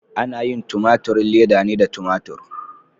Ana yin tumaturin leda ne da tumatur.